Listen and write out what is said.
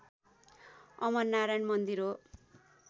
अमरनारायण मन्दिर हो